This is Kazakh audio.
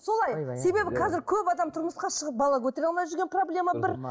солай себебі қазір көп адам тұрмысқа шығып бала көтере алмай жүрген проблема бір